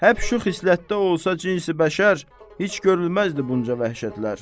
Həp şu xislətdə olsa cinsi bəşər, heç görülməzdi bunca vəhşətlər.